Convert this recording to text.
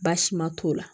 Baasi ma t'o la